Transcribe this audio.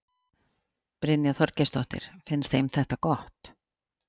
Brynja Þorgeirsdóttir: Finnst þeim þetta gott?